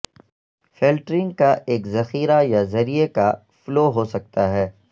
filtering کا ایک ذخیرہ یا ذریعے کا فلو ہو سکتا ہے